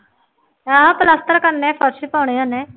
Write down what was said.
ਹਾਂ ਪਲੱਸਤਰ ਕਰਨੇ ਫਰਸ਼ ਪਾਉਣੇ ਉਹਨੇ